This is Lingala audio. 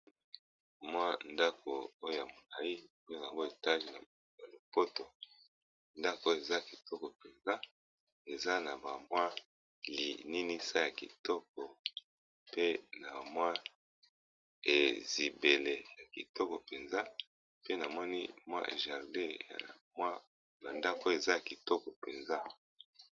mwa ndako oyo namoni pe etage nalopoto ndako eza kitoko mpenza eza na bamwa ekukes ya kitoko pe na mwa ezibele ya kitoko mpenza pe namoni mwa jardin ,ndako eza kitoko mpenza